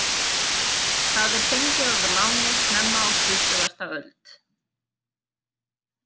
Það er fengið að láni snemma á tuttugasta öld.